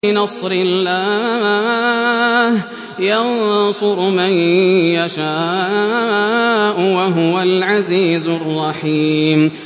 بِنَصْرِ اللَّهِ ۚ يَنصُرُ مَن يَشَاءُ ۖ وَهُوَ الْعَزِيزُ الرَّحِيمُ